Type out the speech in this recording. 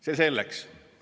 See selleks.